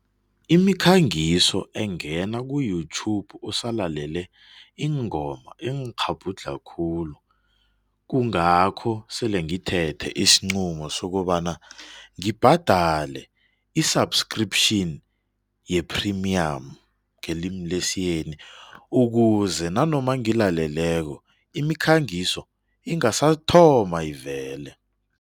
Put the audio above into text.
Imikhangiso engena ku-YouTube usalalele iingoma ingikghabhudlha khulu. Kungakho sele ngithethe isinqumo sokobana ngibgadale i-subscription ye-premium ngelimu lesiyeni ukuze nanoma ngilaleleko imikhangiso ingasathoma ivele.